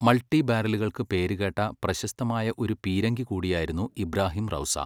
Multi ബാരലുകൾക്ക് പേരുകേട്ട പ്രശസ്തമായ ഒരു പീരങ്കി കൂടിയായിരുന്നു ഇബ്രാഹിം റൗസ.